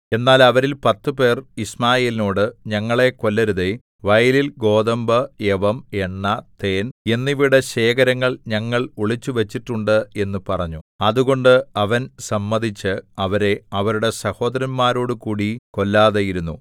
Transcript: എന്നാൽ അവരിൽ പത്തുപേർ യിശ്മായേലിനോട് ഞങ്ങളെ കൊല്ലരുതേ വയലിൽ ഗോതമ്പ് യവം എണ്ണ തേൻ എന്നിവയുടെ ശേഖരങ്ങൾ ഞങ്ങൾ ഒളിച്ചുവച്ചിട്ടുണ്ട് എന്നു പറഞ്ഞു അതുകൊണ്ട് അവൻ സമ്മതിച്ച് അവരെ അവരുടെ സഹോദരന്മാരോടുകൂടി കൊല്ലാതെയിരുന്നു